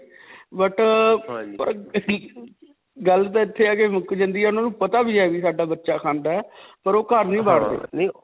but ਅਅ ਗੱਲ ਤਾਂ ਇੱਥੇ ਆ ਕੇ ਮੁੱਕ ਜਾਂਦੀ ਹੈ ਵੀ ਉਨ੍ਹਾਂ ਨੂੰ ਪਤਾ ਵੀ ਹੈ ਕਿ ਸਾਡਾ ਬਚਚਾ ਖਾਂਦਾ ਹੈ ਪਰ ਓਹ ਘਰ ਨਹੀਂ .